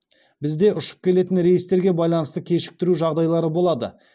бізде ұшып келетін рейстерге байланысты кешіктіру жағдайлары болады